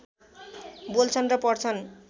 बोल्छन् र पढ्छन्